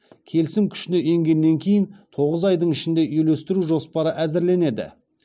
келісім күшіне енгеннен кейін тоғыз айдың ішінде үйлестіру жоспары әзірленеді